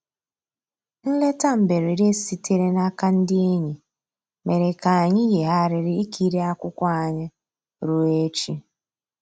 Nlétà mbèredè sìtèrè n'àka ndí ényì mèrè kà ànyị́ yìghàrị̀rị́ ìkìrí akwụ́kwọ́ ànyị́ rùó èchì.